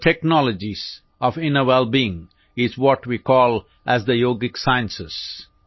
the technologies of inner wellbeing are what we call as the yogic sciences